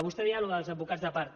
vostè dia això dels advocats de part